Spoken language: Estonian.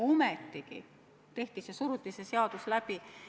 Ometigi tehti see ära, suruti see seadus läbi.